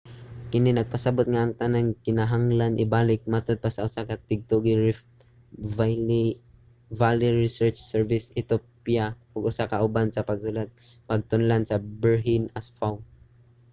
kini nagpasabot nga ang tanan kay kinahanglan ibalik, matod pa sa usa ka tigtuki sa riff valley research service sa ethiopia ug usa ka kauban sa pagsulat sa pagtulon-an berhane asfaw